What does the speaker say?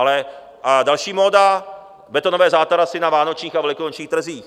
A další móda - betonové zátarasy na vánočních a velikonočních trzích.